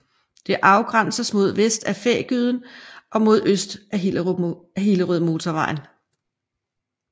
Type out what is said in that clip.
Det afgrænses mod vest af Fægyden og mod øst af Hillerødmotorvejen